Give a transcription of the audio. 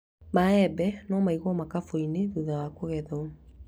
Maembe no maigwo makũmbĩ-inĩ thutha wa kũgethwo